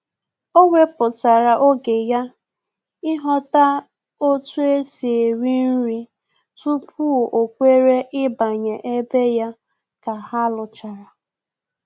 O weputara oge ya ịghọta otu esi eri nri tupu o kwere ịbanye ebe ya ka ha luchara